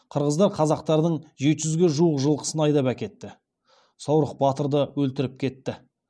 қырғыздар қазақтардың жеті жүзге жуық жылқысын айдап әкетті саурық батырды өлтіріп кетті